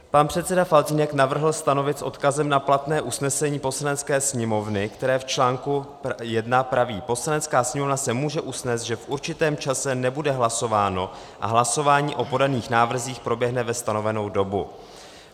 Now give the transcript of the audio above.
Pan předseda Faltýnek navrhl stanovit s odkazem na platné usnesení Poslanecké sněmovny, které v článku 1 praví: Poslanecká sněmovna se může usnést, že v určitém čase nebude hlasováno a hlasování o podaných návrzích proběhne ve stanovenou dobu.